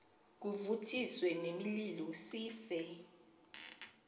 kuvuthiswe nemililo sife